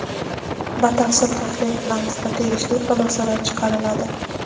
batafsil tahlil qilamiz va tegishli xulosalar chiqariladi.